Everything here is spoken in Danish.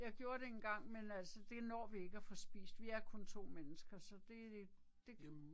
Jeg gjorde det engang men altså det når vi ikke at få spist vi er kun 2 mennesker så det. Det